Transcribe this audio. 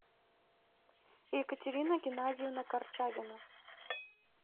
екатерина геннадьевна корчагина